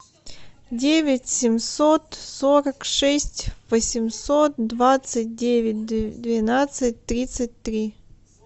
девять семьсот сорок шесть восемьсот двадцать девять двенадцать тридцать три